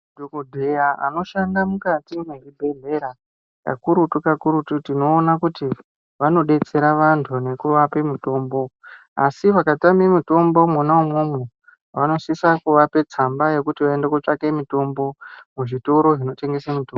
Madhokodheya anoshanda mukati mwezvibhedhlera kakurutu kakurutu tinoona kuti vanodetsera vantu ngekuvapa mutombo asi vakatama mutombo mwoma umwomwo vanosisa kuvapa tsamba yekuti vaende kotsvaka mitombo muzvitoro zvinotengesa mitombo.